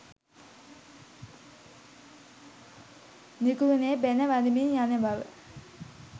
නිකරුණේ බැණ වදිමින් යන බව